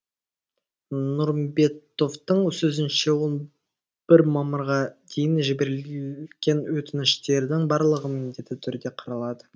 нұрымбетовтың сөзінше он бір мамырға дейін жіберілген өтініштердің барлығы міндетті түрде қаралады